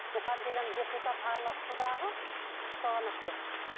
бухан деген депутат араласты дағы соған әперді